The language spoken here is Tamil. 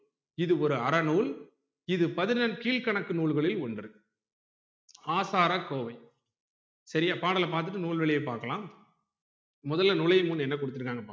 இது ஒரு அறநூல் இது பதினெண்கீழ்க்கணக்கு நூல்களில் ஒன்று ஆசாரக்கோவை சரியா பாடல பாத்துட்டு நூல்களை பாக்கலாம் முதல்ல நுழையும் நூல் என்ன குடுத்துருக்காங்கனு பாப்போம்